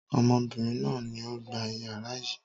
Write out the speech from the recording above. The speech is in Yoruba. Obìnrin náà ni ó gba ìyàrá yìí.